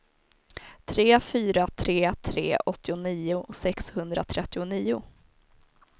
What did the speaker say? tre fyra tre tre åttionio sexhundratrettionio